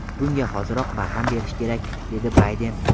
Bunga hoziroq barham berish kerak”, dedi Bayden.